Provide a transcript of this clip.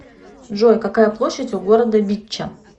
джой какая площадь у города битча